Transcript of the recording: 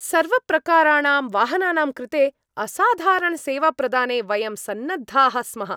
सर्वप्रकाराणां वाहनानां कृते असाधारणसेवाप्रदाने वयं सन्नद्धाः स्मः।